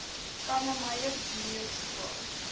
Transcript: kannemeyer junior skool